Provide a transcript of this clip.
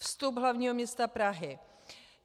Vstup hlavního města Prahy.